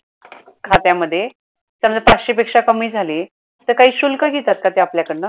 खात्यामध्ये समजा पाचशे पेक्षा कमी झाली तर काही शुल्क घेतात का ते आपल्या कडनं?